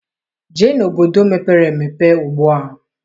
Jee obodo mepere emepe ugbua!